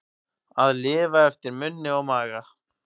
Að lifa eftir munni og maga